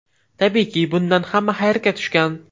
Tabiiyki, bundan hamma hayratga tushgan.